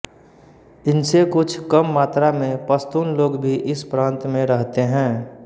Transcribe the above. इनसे कुछ कम मात्रा में पश्तून लोग भी इस प्रान्त में रहते हैं